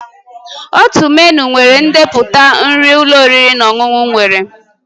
Otu menịu nwere ndepụta nri ụlọ oriri na ọṅụṅụ nwere